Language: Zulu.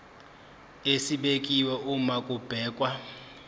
esibekiwe uma kubhekwa